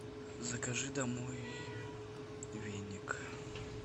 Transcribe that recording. закажи домой веник